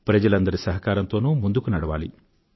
ప్రజలందరి సహకారంతోనూ ముందుకు నడవాలి